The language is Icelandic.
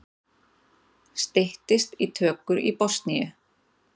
Styttist í tökur í Bosníu